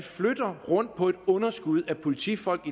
rundt på et underskud af politifolk